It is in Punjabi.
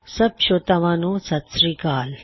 ਸਬ ਸ੍ਰੋਤਿਆਂ ਨੂੰ ਸਤ ਸ੍ਰੀ ਅਕਾਲ